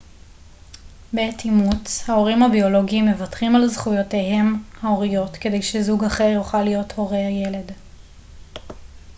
בעת אימוץ ההורים הביולוגיים מוותרים על זכויותיהם ההוריות כדי שזוג אחר יוכל להיות הורי הילד